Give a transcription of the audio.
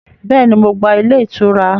Béèni, Mo gba ilé ìtura